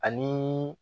Ani